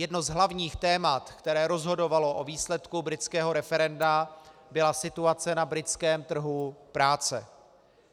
Jedno z hlavních témat, které rozhodovalo o výsledku britského referenda, byla situace na britském trhu práce.